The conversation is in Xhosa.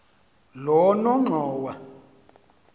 lonongxowa